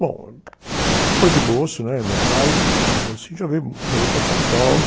Bom, depois de moço, meu pai, moçinho, já veio, já veio para São Paulo.